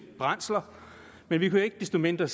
brændsler men ikke ikke desto mindre